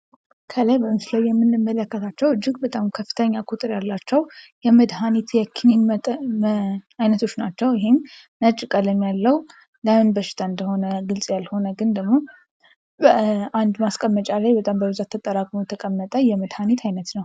ከላይ በምስሉ ላይ የምንመለከታቸው እጅግ በጣም ከፍተኛ ቁጥር ያላቸው የመድኃኒት የክኒን አይነቶች ናቸው። ነጭ ቀለም ያለው ለምን በሽታ እንደሆነ ግልፅ ያልሆነ ደግሞ አንድ ማስቀመጫ ላይ በጣም በብዛት ተጠራቅሞ የተቀመጠ የመድሀኒት አይነት ነው።